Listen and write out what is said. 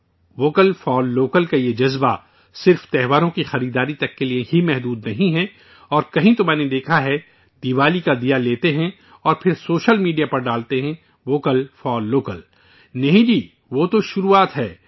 'vocal for local' کا یہ جذبہ صرف تہواروں کی خریداری تک کے لیے ہی محدود نہیں ہے اور کہیں تو میں نے دیکھا ہے، دیوالی کا دیا لیتے ہیں اور پھر سوشل میڈیا پر ڈالتے ہیں 'ووکل فار لوکل' نہیں جی، وہ تو شروعات ہے